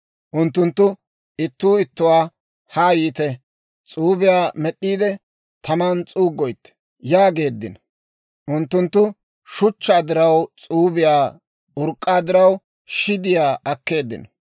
Unttunttu ittuu ittuwaa, «Haa yiite; s'uubiyaa med'd'iide, taman s'uuggoytte» yaageeddino. Unttunttu shuchchaa diraw s'uubiyaa, urk'k'aa diraw shidiyaa akkeeddino;